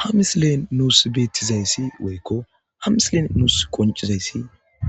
Ha misilen nuus beettizayssi woykko ha misilen nuus qonccizayssi